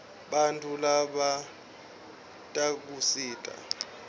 bantfu labatdkusita